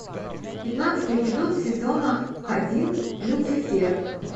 пятнадцатый эпизод сезона один люцифер